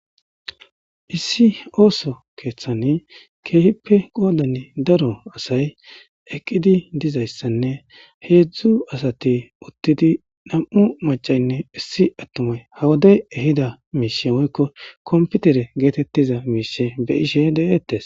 issi ooso keeththani keehippe qoolani daro asay eqqidi dizayssanne heedzdzu asati uttidi nam7u macaynne issi attumay hawaday ehida miisie woykko komputere geetettiza miise be ishe deeettes